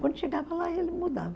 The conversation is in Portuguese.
Quando chegava lá, aí ele mudava.